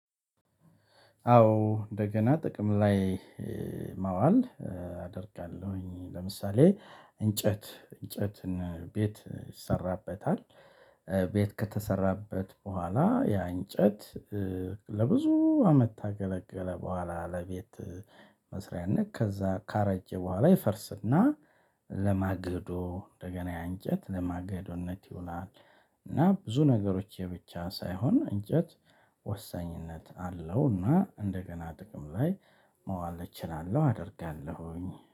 አዎ እንደገና ጥቅም ላይ ማዋል አደርጋለሁኝ ለምሳሌ እንጨት እንጨትን ቤት ይሰራበታል። ቤት ከተሰራበት በኋላ ያ እንጨት። ለብዙ አመት ካገለገለ በኋላ ለቤት መስሪያነት ከዛ ካረጀ በኋላ ይፈርስና ለማገዶ እንደገና ያ አንጨት ለማግዶነት ይውላል። እና ብዙ ነገሮች የብቻ ሳይሆን እንጨት ወሳኝነት አለው። እና እንደገና ጥቅም ላይ ማዋል እችላለሁ አደርጋለሁኝ